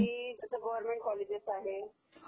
की जसं government college आहे